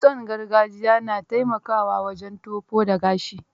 Kitson gargajiya na taimakawa wajen tofo da gashi.